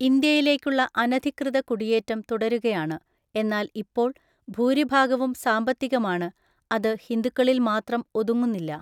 ഇന്ത്യയിലേക്കുള്ള അനധികൃത കുടിയേറ്റം തുടരുകയാണ്, എന്നാൽ ഇപ്പോൾ ഭൂരിഭാഗവും സാമ്പത്തികമാണ്, അത് ഹിന്ദുക്കളിൽ മാത്രം ഒതുങ്ങുന്നില്ല.